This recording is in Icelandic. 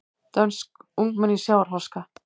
Dönsk ungmenni í sjávarháska